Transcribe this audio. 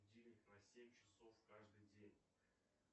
будильник на семь часов каждый день